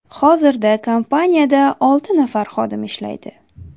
Hozirda kompaniyada olti nafar xodim ishlaydi.